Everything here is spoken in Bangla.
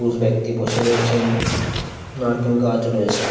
পুরুষ ব্যক্তি বসে রয়েছেন নারকেল গাছও রয়েছে ।